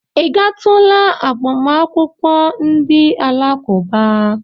Ị gatula agbamakwụkwọ ndị Alakụba?